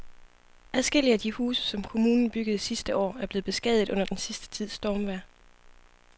Adskillige af de huse, som kommunen byggede sidste år, er blevet beskadiget under den sidste tids stormvejr.